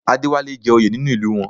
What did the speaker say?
Adéwálé jẹ́ oyè nínú ìlú wọn